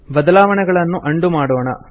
ಬದಲಾವಣೆಗಳನ್ನು ಅಂಡು ಮಾಡೋಣ